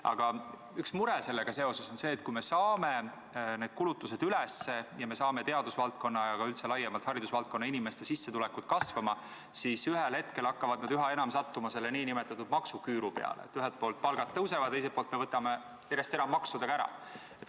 Aga üks mure sellega seoses on see, et kui me saame need kulutused üles, saame teadusvaldkonna ja üldse laiemalt haridusvaldkonna inimeste sissetulekud kasvama, siis ühel hetkel hakkavad nad üha enam sattuma selle nn maksuküüru peale, st ühelt poolt palgad tõusevad, aga teiselt poolt me võtame järjest enam maksudega ära.